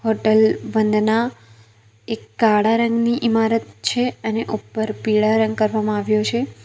Hotel Vandana એક કાળા રંગની ઇમારત છે અને ઉપર પીળા રંગ કરવામાં આવ્યો છે.